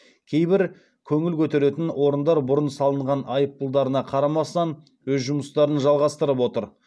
кейбір көңіл көтеретін орындар бұрын салынған айыппұлдарына қарамастан өз жұмыстарын жалғастырып отыр